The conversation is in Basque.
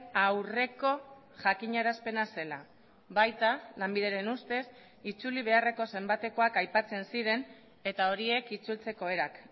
aurreko jakinarazpena zela baita lanbideren ustez itzuli beharreko zenbatekoak aipatzen ziren eta horiek itzultzeko erak